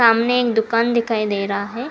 सामने एक दुकान दिखाई दे रहा है।